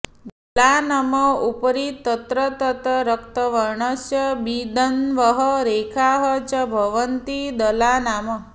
दलानम् उपरि तत्र तत्र रक्तवर्णस्य बिन्दवः रेखाः च भवन्ति दलानाम्